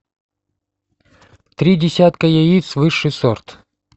три десятка яиц высший сорт